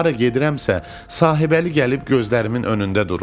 Hara gedirəmsə, Sahibəli gəlib gözlərimin önündə durur.